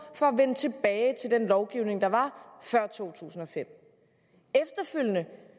for at vende tilbage til den lovgivning der var før to tusind og fem efterfølgende